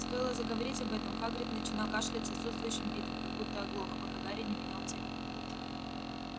стоило заговорить об этом хагрид начинал кашлять с отсутствующим видом как будто оглох пока гарри не менял тему